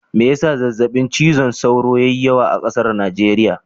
Mai ya sa zazzaɓin cizon sauro ya yi yawa a ƙasar Najeriya?